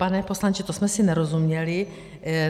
Pane poslanče, to jsme si nerozuměli.